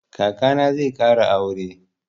Kaka na zai ƙara aure.